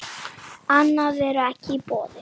Annað er ekki í boði.